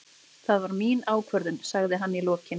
Það var mín ákvörðun, sagði hann í lokin.